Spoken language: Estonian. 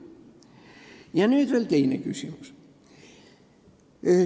Ja on veel teine küsimus.